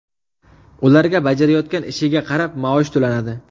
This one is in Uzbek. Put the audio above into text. Ularga bajarayotgan ishiga qarab maosh to‘lanadi.